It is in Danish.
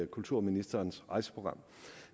kulturministerens rejseprogram